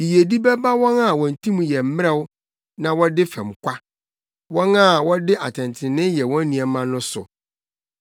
Yiyedi bɛba wɔn a wɔn tirim yɛ mmerɛw na wɔde fɛm kwa, wɔn a wɔde atɛntrenee yɛ wɔn nneɛma no so.